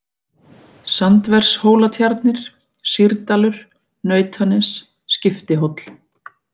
Sandvershólatjarnir, Sýrdalur, Nautanes, Skiptihóll